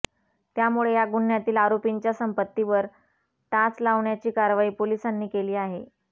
त्यामुळे या गुन्ह्यातील आरोपींच्या संपत्तीवर टाच लावण्याची कारवाई पोलिसांनी केली आहे